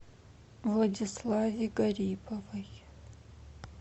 владиславе гариповой